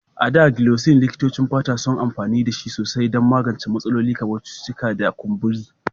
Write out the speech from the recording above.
A da, Gelocin, likitocin fata suna amfani da su sosai don magance matsalolin kamar cututtuka da kumburi.